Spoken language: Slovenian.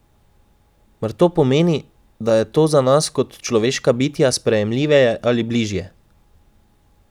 Mar to pomeni, da je to za nas kot človeška bitja sprejemljiveje ali bližje?